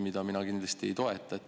Mina seda kindlasti ei toeta.